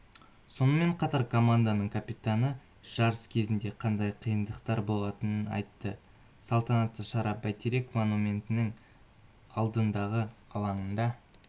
сонымен қатар команданың капитаны жарыс кезінде қандай қиындықтар болатынын айтты салтанатты шара бәйтерек монументінің алдындағы алаңда